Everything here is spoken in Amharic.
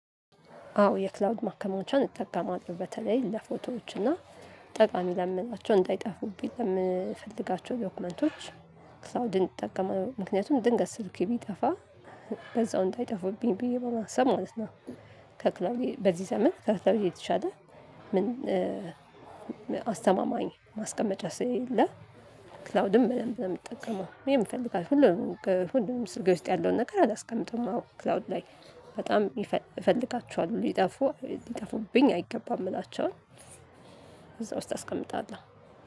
አዎ የክላውድ ማከማቻን እጠቀማለሁ በተለይ ለፎቶዎች እና ጠቃሚ ለምናቸው እንዳይጠፉብኝ የምፈልጋቸው ዶክመንቶች ክላውድን እጠቀማለሁ ምክንያቱም ድንገት ስልክ ቢጠፋ በዛው እንዳይጠፉብኝ ብዬ በማሰብ ማለት ነው። ከክላውድ በዚህ ዘመን ከክላውድ የተሻለ ምን? አስተማማኝ ማስቀመጫ ስለለሌ ክላውድን ነው የምጠቀመው። ይሄን ይፈልጋል ሁሉንም ስልኬ ውስጥ ያለውን ነገር አላስቀምጥም። አዎ ክላውድ ላይ በጣም ይፈ እፈልጋችኋል ሊጠፉ ይጠፉብኝ አይገባም የምላቸውን። እዛ ውስጥ አስቀምጣለሁ።